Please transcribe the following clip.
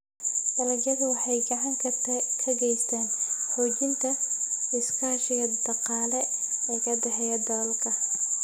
Dalagyadu waxay gacan ka geystaan ??xoojinta iskaashiga dhaqaale ee ka dhexeeya dalalka.